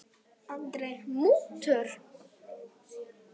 Andri: Mútur?